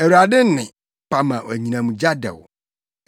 Awurade nne pa ma anyinam gya dɛw.